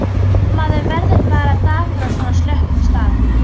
Maður verður bara dapur á svona slöppum stað.